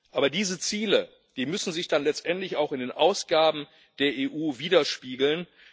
Aber diese Ziele müssen sich dann letztendlich auch in den Ausgaben der EU widerspiegeln.